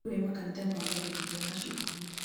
nĩ kũrĩ makanitha maambagĩrĩria macukuru